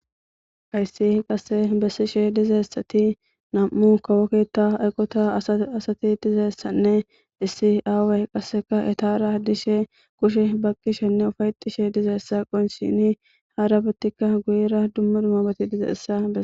hayssi qasse bessishe dizayssati nam7u kawoketa aqota asati dizeessanne issi aaway qasseka itara dishe kushe baqishenne ufayxishe dizeessa qonshini haarabatikka guyira dummu dumabati dizeessa bee